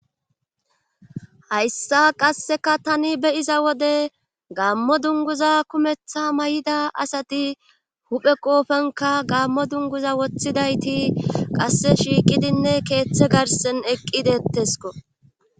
hayssa qasseka tani beyiza wode gammo dunguza kumeththa may7ida asati huphe qoofenka gammo dunguza woththidayti qasse shiiqidinne keeththe garsen eqqidettesko